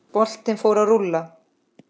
Boltinn fór að rúlla.